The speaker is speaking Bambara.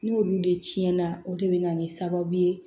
N'olu de cɛn na o de bɛ na kɛ sababu ye